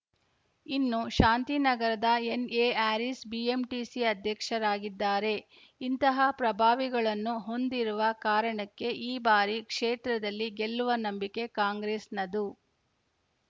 ಇನ್ನು ಶಾಂತಿನಗರದ NA Haris BMTC ಅಧ್ಯಕ್ಷರಾಗಿದ್ದಾರೆ ಇಂತಹ ಪ್ರಭಾವಿಗಳನ್ನು ಹೊಂದಿರುವ ಕಾರಣಕ್ಕೆ ಈ ಬಾರಿ ಕ್ಷೇತ್ರದಲ್ಲಿ ಗೆಲ್ಲುವ ನಂಬಿಕೆ ಕಾಂಗ್ರೆಸ್‌ನದ್ದು